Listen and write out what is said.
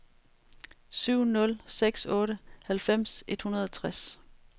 syv nul seks otte halvfems et hundrede og tres